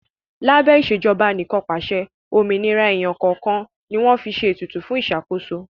Lábẹ́ Ìṣèjọba Anìkànpàṣẹ, òmìnira èèyàn kọ̀ọ̀kan ni wọ́n fi ṣe ètùtù fún ìṣàkóso